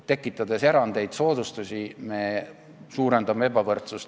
Tekitades erandeid ja soodustusi, me suurendame ebavõrdsust.